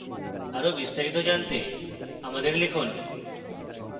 আরো বিস্তারিত জানতে আমাদের লিখুন